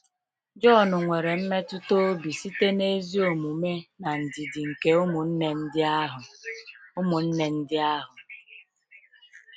Jọn nwere mmetụta obi site n’ezi omume na ndidi nke ụmụnne ndị ahụ. ụmụnne ndị ahụ.